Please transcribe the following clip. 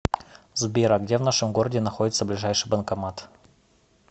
сбер а где в нашем городе находится ближайший банкомат